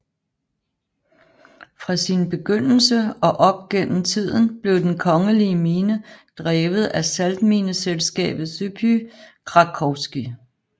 Fra sin begyndelse og op gennem tiden blev den kongelige mine drevet af saltmineselskabet Żupy krakowskie